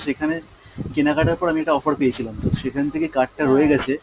সেখানে কেনাকাটার পর আমি একটা offer পেয়েছিলাম তো সেখান থেকে card টা রয়ে গেছে।